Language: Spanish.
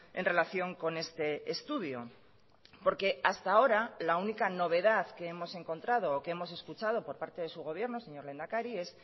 en relación con este estudio porque hasta ahora la única novedad que hemos encontrado o que hemos escuchado por parte de su gobierno señor lehendakari es